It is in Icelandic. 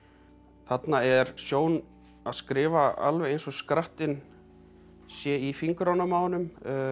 þarna er Sjón að skrifa alveg eins og skrattinn sé í fingrunum á honum